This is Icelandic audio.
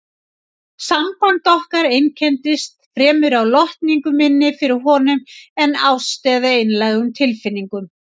Samband okkar einkenndist fremur af lotningu minni fyrir honum en ást eða einlægum tilfinningum.